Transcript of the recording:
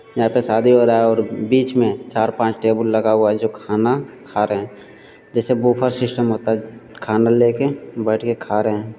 यहाँ पे शादी हो रहा है और बीच में चार पांच टेबुल लगा हुआ है जो खाना खा रहे हैं जैसे बुफर सिस्टम होता है। खाना लेके बैठ के खा रहे हैं।